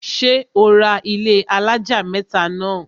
ṣé ó ra ilẹ́ alájà mẹ́tà náà?